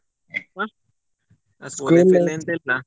ಹ school life ಎಲ್ಲ ಎಂತ ಇಲ್ಲ.